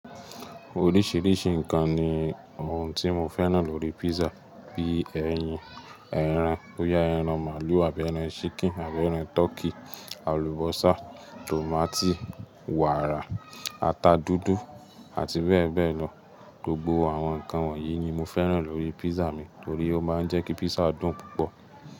Oríṣìíríṣìí ǹkan ni ohun tí mo fẹ́ràn lórí pízzà bí ẹyin, ẹran bóyá ẹran màlúù àbí ẹran ṣíkìn àbí ẹran tọkí, àlùbọ́sà, tòmátì, wàrà, ata dúdú àti bẹ́ẹ̀ bẹ́ẹ̀ lọ. Gbogbo àwọn ǹkan wọ̀nyí ni mo fẹ́ràn lórí pízzà mi torí ó máa ń jẹ́ kí pízzà dùn púpọ̀